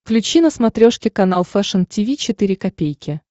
включи на смотрешке канал фэшн ти ви четыре ка